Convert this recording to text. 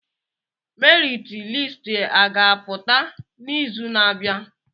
Merit listi a ga-apụta n'izu na-abịa?